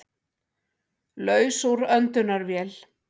Laus úr öndunarvél